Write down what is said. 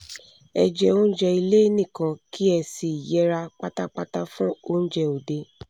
ẹ jẹ oúnjẹ ilé nìkan kí ẹ sì yẹra pátápátá fún oúnjẹ òde